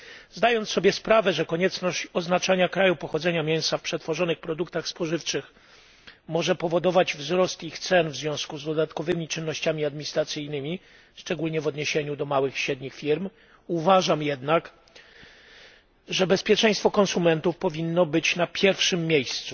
Zdając sobie sprawę, że konieczność oznaczania kraju pochodzenia mięsa w przetworzonych produktach spożywczych może powodować wzrost ich cen w związku z dodatkowymi czynnościami administracyjnymi, szczególnie w odniesieniu do małych i średnich firm, uważam jednak, że bezpieczeństwo konsumentów powinno być na pierwszym miejscu.